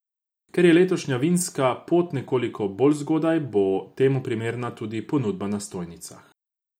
Ker je letošnja vinska pot nekoliko bolj zgodaj, bo temu primerna tudi ponudba na stojnicah.